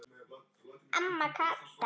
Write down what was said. Amma Kata.